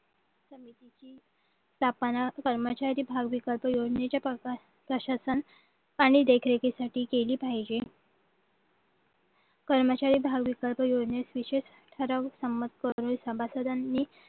कर्मचारी भाव विकल्प योजनेच्या प्रशासन आणि देखरेखीसाठी केली पाहिजे कर्मचारी भाव विकल्प योजनेस विशेष ठराविक संमत करून सभासदांनी